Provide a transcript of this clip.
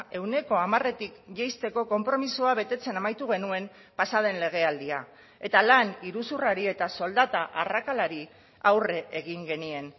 ehuneko hamaretik jaisteko konpromisoa betetzen amaitu genuen pasa den legealdia eta lan iruzurrari eta soldata arrakalari aurre egin genien